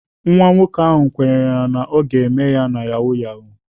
Nwa nwoke ahụ kwenyere na ọ ga-eme ya na yahoo yahoo.